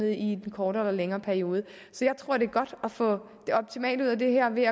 i en kortere eller længere periode så jeg tror det er godt at få det optimale ud af det her ved